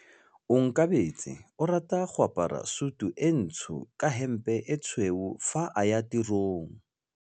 Onkabetse o rata go apara sutu e ntsho ka hempe e tshweu fa a ya tirong.